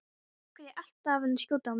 Af hverju ertu alltaf að skjóta á mig?